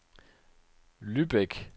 Lübeck